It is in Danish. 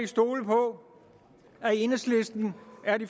stole på at enhedslisten